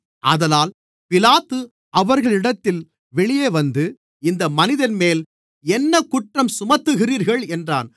ஆதலால் பிலாத்து அவர்களிடத்தில் வெளியே வந்து இந்த மனிதன்மேல் என்ன குற்றஞ்சுமத்துகிறீர்கள் என்றான்